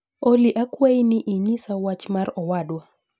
Olly akwayi ni inyisa wach mar owadwa